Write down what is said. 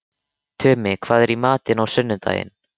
Tumi, hvað er í matinn á sunnudaginn?